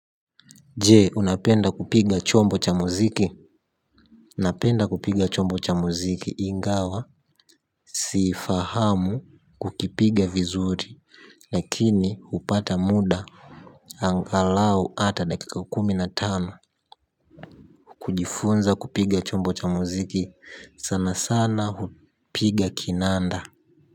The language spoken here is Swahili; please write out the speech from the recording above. Je unapenda kupiga chombo cha muziki napenda kupiga chombo cha muziki ingawa si ifahamu kukipiga vizuri lakini hupata muda angalau hata dakika kumi na tano kujifunza kupiga chombo cha muziki sana sana hupiga kinanda.